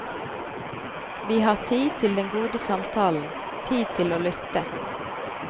Vi har tid til den gode samtalen, tid til å lytte.